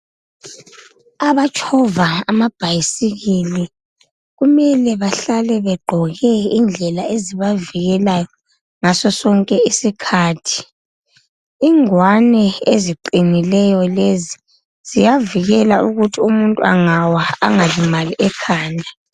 Abatshova amabhayisikili kumele bahlale begqoke indlela ezibavikelayo ngaso sonke isikhathi. Ingwane eziqinileyo lezi ziyavikela ukuthi umuntu engawa engalimali ekhanda.